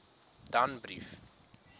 danbrief